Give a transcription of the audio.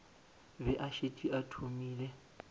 be a šetše a thomile